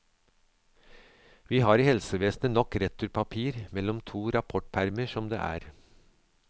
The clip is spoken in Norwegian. Vi har i helsevesenet nok returpapir mellom to rapportpermer som det er.